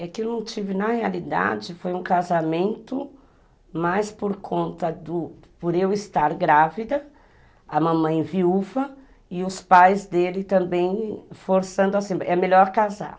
É que eu não tive, na realidade, foi um casamento mais por conta do... por eu estar grávida, a mamãe viúva e os pais dele também forçando assim, é melhor casar.